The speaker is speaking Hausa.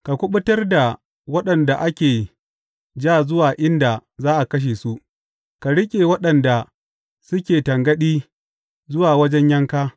Ka kuɓutar da waɗanda ake ja zuwa inda za a kashe su; ka riƙe waɗanda suke tangaɗi zuwa wajen yanka.